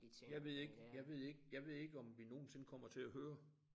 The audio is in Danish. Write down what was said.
Jeg ved ikke jeg ved ikke jeg ved ikke om vi nogensinde kommer til at høre